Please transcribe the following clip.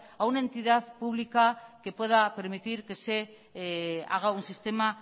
a una entidad pública que pueda permitir que se haga un sistema